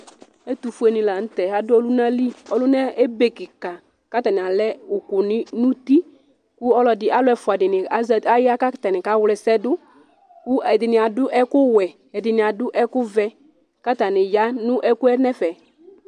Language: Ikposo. Ɛtʋfʋe ni la ntɛ adʋ ɔluna li Ɔluna ebe kìka kʋ atani alɛ ʋku nʋ ʋti kʋ alu ɛfʋa dìní, atani ya kawla ɛsɛ du kʋ ɛdiní adu ɛku wɛ, ɛdiní adu ɛku vɛ kʋ atani ya nʋ ɛgɔ yɛ nʋ ɛfɛ